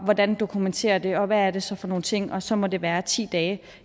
hvordan dokumenterer man det og hvad er det så for nogle ting og så må det være ti dage